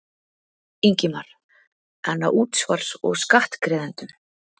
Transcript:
Ingimar: En á útsvars- og skattgreiðendum?